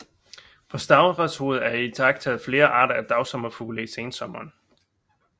På Stavreshoved er der iagttaget flere arter af dagsommerfugle i sensommeren